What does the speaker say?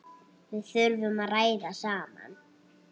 Við þurfum að ræða saman.